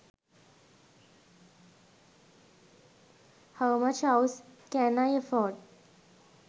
how much house can i afford